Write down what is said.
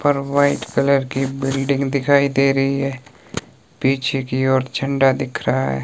और white colour की building दिखाई दे रही है पीछे की ओर झंडा दिख रहा है।